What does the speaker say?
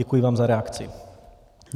Děkuji vám za reakci.